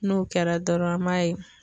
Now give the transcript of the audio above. N'o kɛra dɔrɔn an m'a ye